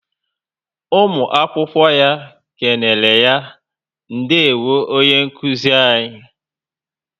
Ụmụ akwụkwọ ya kenereya - Ndewo onye nkụzi anyị